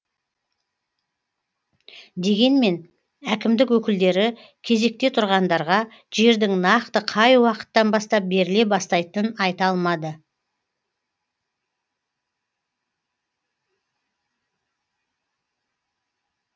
дегенмен әкімдік өкілдері кезекте тұрғандарға жердің нақты қай уақыттан бастап беріле бастайтынын айта алмады